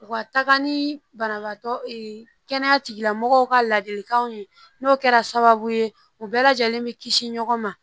U ka taga ni banabaatɔ kɛnɛya tigilamɔgɔw ka ladilikanw ye n'o kɛra sababu ye u bɛɛ lajɛlen bɛ kisi ɲɔgɔn ma